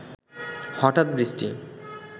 হঠাৎ বৃষ্টি